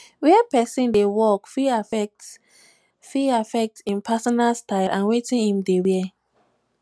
where person dey work fit affect fit affect im personal style and wetin im dey wear